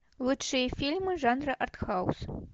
лучшие фильмы жанра артхаус